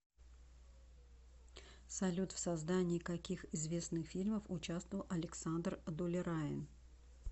салют в создании каких известных фильмов учавствовал александр дулераин